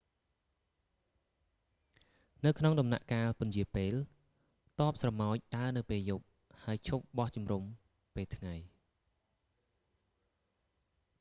នៅក្នុងដំណាក់កាលពន្យារពេល ទ័ពស្រមោចដើរនៅពេលយប់ ហើយឈប់បោះជុំរំពេលថ្ងៃ